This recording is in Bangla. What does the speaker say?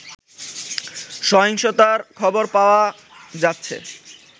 সহিংসতার খবর পাওয়া যাচ্ছে